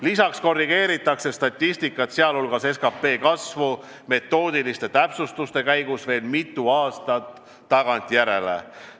Lisaks korrigeeritakse statistikat, sh SKP kasvu, metoodiliste täpsustuste käigus veel mitu aastat tagantjärele.